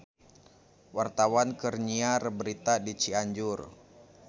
Wartawan keur nyiar berita di Cianjur